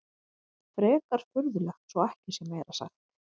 Frekar furðulegt svo ekki sé meira sagt.